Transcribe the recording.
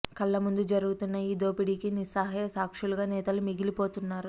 కళ్లముందు జరుగుతున్న ఈ దోపి డీకి నిస్సహాయ సాక్షులుగా నేతలు మిగిలిపోతున్నారు